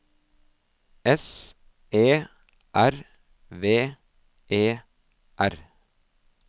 S E R V E R